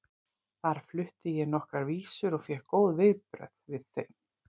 Þar flutti ég nokkrar vísur og fékk góð viðbrögð við þeim.